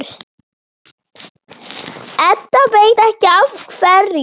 Edda veit ekki af hverju.